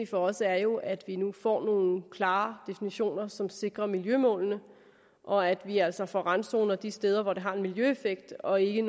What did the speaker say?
for os er jo at vi nu får nogle klare definitioner som sikrer miljømålene og at vi altså får randzoner de steder hvor det har en miljøeffekt og ikke